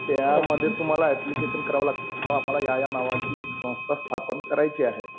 त्यामध्ये तुम्हाला ऍप्लिकेशन करावं लागते. बुवा आम्हाला या या नावाची एक संस्था स्थापन करायची आहे.